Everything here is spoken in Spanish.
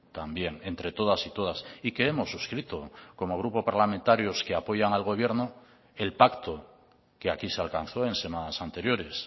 también entre todas y todas y que hemos suscrito como grupo parlamentarios que apoyan al gobierno el pacto que aquí se alcanzó en semanas anteriores